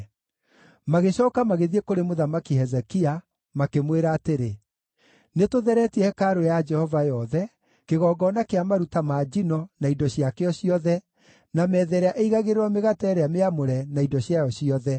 Magĩcooka magĩthiĩ kũrĩ Mũthamaki Hezekia, makĩmwĩra atĩrĩ: “Nĩtũtheretie hekarũ ya Jehova yothe, kĩgongona kĩa maruta ma njino, na indo ciakĩo ciothe, na metha ĩrĩa ĩigagĩrĩrwo mĩgate ĩrĩa mĩamũre, na indo ciayo ciothe.